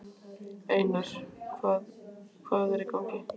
Einar, hvað hvað er í gangi?